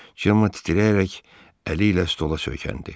Cemma titrəyərək əli ilə stola söykəndi.